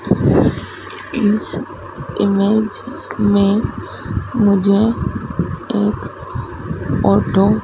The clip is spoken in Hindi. इस इमेज में मुझे एक ऑटो --